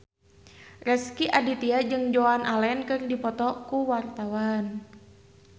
Rezky Aditya jeung Joan Allen keur dipoto ku wartawan